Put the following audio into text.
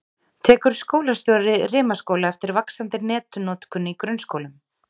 Tekur skólastjóri Rimaskóla eftir vaxandi netnotkun í grunnskólum?